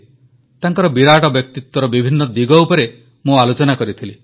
ତାଙ୍କର ବିରାଟ ବ୍ୟକ୍ତିତ୍ୱର ବିଭିନ୍ନ ଦିଗ ଉପରେ ମୁଁ ଆଲୋଚନା କରିଥିଲି